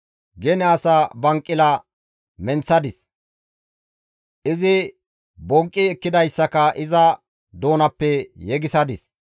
Gene asa banqila menththadis, izi bonqqi ekkidayssaka iza doonappe yegisadis.